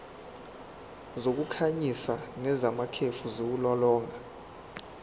zokukhanyisa nezamakhefu ziwulolonga